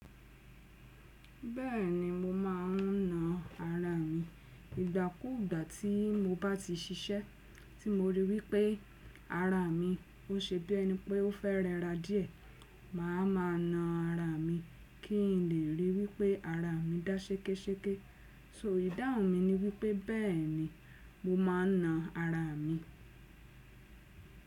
Bẹ́ẹ̀ni mo ma n na ara mi. Ìgbà kú ìgbà tí mo bá ti ṣiṣẹ́ tí mo rí wípé ara mi ó ṣe bí ẹni pé ó fẹ́ rẹra díẹ̀, màá ma na ara mi kí n lè ríi wípé ara mi dá ṣekéṣeké. So ìdáhùn mi ni wípé bẹ́ẹ̀ni mo ma n na ara mi.